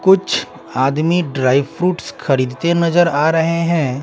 कुछ आदमी dry fruits खरीदते नजर आ रहे हैं।